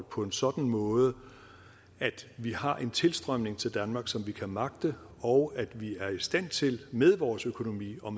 på en sådan måde at vi har en tilstrømning til danmark som vi kan magte og at vi er i stand til med vores økonomi og